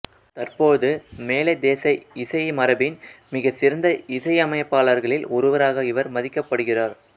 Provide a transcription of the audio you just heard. தற்போது மேலைத்தேச இசைமரபின் மிகச் சிறந்த இசையமைப்பாளர்களில் ஒருவராக இவர் மதிக்கப்படுகிறார்